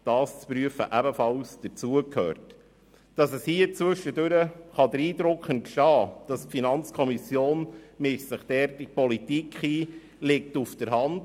Es liegt auf der Hand, dass zwischendurch der Eindruck entstehen kann, die Finanzkontrolle mische sich in die Politik ein.